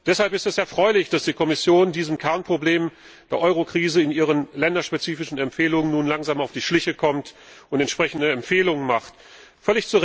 Deshalb ist es erfreulich, dass die Kommission diesem Kernproblem der Eurokrise in ihren länderspezifischen Empfehlungen nun langsam auf die Schliche kommt und entsprechende Empfehlungen abgibt.